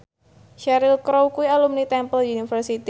Cheryl Crow kuwi alumni Temple University